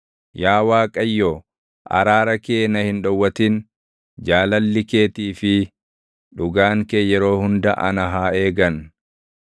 Yaa Waaqayyo araara kee na hin dhowwatin; jaalalli keetii fi dhugaan kee yeroo hunda ana haa eegan.